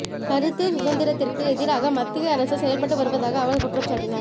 கருத்து சுதந்திரத்திற்கு எதிராக மத்திய அரசு செயல்பட்டு வருவதாக அவர் குற்றம்சாட்டினார்